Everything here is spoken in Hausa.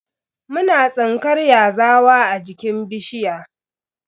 Muna tsinkar yazawa a jikin bishiya.